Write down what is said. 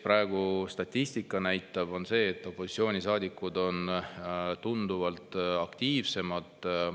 Praegu statistika näitab seda, et opositsioonisaadikud on tunduvalt aktiivsemad.